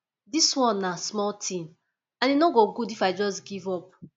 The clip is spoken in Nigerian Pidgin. dis one na small thing and e no go good if i just give up